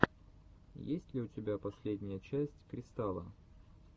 есть ли у тебя последняя часть кристала